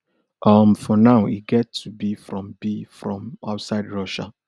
um for now e get to be from be from outside russia